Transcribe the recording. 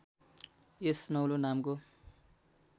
यस नौलो नामको